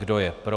Kdo je pro?